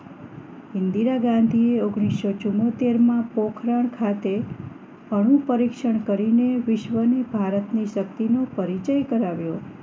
ઇન્દિરા ગાંધીએ ઓગણીસો ચુંમોતેર માં પોખરણ ખાતે અણુ પરીક્ષણ કરીને વિશ્વની ભારતની શક્તિ નો પરિચય કરાવ્યો